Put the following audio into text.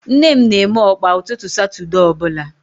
Nne m na eme Ọkpa ụtụtụ satude ọbụla